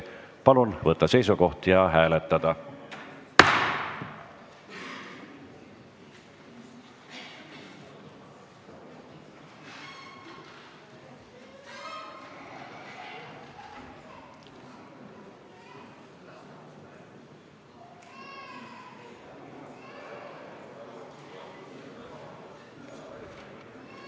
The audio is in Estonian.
Palun võtta seisukoht ja hääletada!